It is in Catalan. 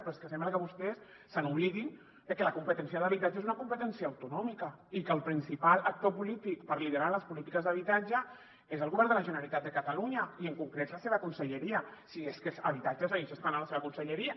però és que sembla que vostès s’oblidin de que la competència d’habitatge és una competència autonòmica i que el principal actor polític per liderar les polítiques d’habitatge és el govern de la generalitat de catalunya i en concret la seva conselleria si és que habitatge segueix estant a la seva conselleria